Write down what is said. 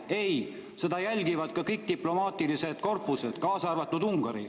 Ei, seda jälgivad kõik diplomaatilised korpused, kaasa arvatud Ungari.